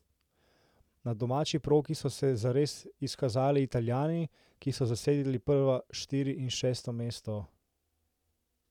Na domači progi so se zares izkazali Italijani, ki so zasedli prva štiri in šesto mesto.